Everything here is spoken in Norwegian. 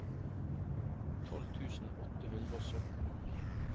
tolv tusen åtte hundre og sytten